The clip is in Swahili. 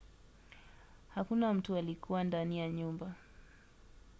hakuna mtu alikuwa ndani ya nyumba